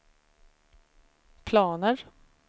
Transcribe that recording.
planer